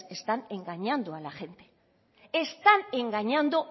están engañando a la gente están engañando